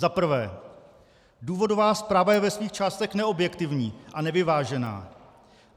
Za prvé: Důvodová zpráva je ve svých částech neobjektivní a nevyvážená.